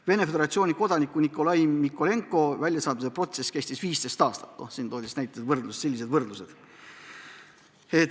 Venemaa Föderatsiooni kodaniku Nikolai Mikolenko väljasaatmise protsess kestis 15 aastat – selline võrdlus toodi välja.